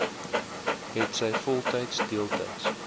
hetsy voltyds deeltyds